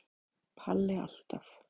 Palli alltaf.